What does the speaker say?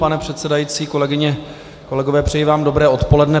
Pane předsedající, kolegyně, kolegové, přeji vám dobré odpoledne.